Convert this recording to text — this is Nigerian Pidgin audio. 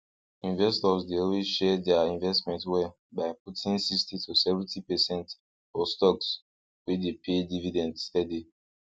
investors dey always share dia investment well by putting sixty to seventy percent for stocks wey dey pay dividend steady